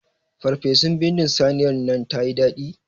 Ferfesun bindin saniyar nan tayi daɗi.